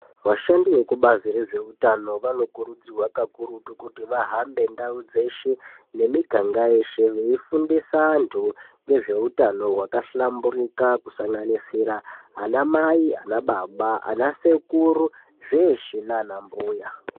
Vashandi veku bazi rezve utano vano kurudzirwa kakurutu kuti vahambe ndau dzeshe ne miganga yeshe vei fundisa antu ngezve utano hwaka hlamburika kusanganisira ana mai , ana baba , ana sekuru zveshe nana mbuya.